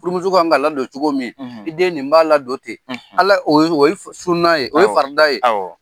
Furumuso kan' la don cogo min i den nin b'a la don ten ala oye sunan ye o ye farida ye